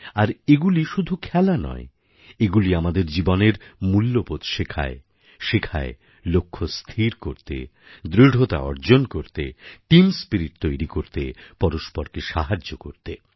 আর এগুলি শুধু খেলা নয় এগুলি আমাদের জীবনের মূল্যবোধ শেখায় শেখায় লক্ষ্য স্থির করতে দৃঢ়তা অর্জন করতে টিম স্পিরিট তৈরি করতে পরস্পরকে সাহায্য করতে